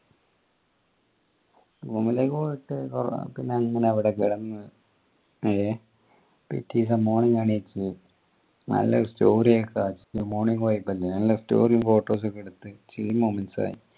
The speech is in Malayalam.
room ലേക്ക് പോയപ്പോ പിന്നെ അങ്ങനെ അവിടെ കിടന്നു പിറ്റേദിസം morning എണീച് നല്ല ഒരു morning vibe ല്ലേ നല്ല story photos കെ എടുത്ത്